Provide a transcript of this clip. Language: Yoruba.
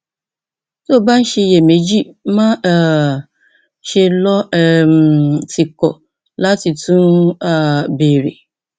tó o bá ń ṣiyèméjì má um ṣe lọ um tìkọ láti tún um béèrè